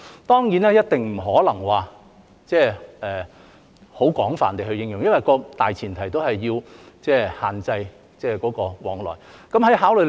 當然，一定不可能很廣泛地應用，因為大前提始終是要限制往來。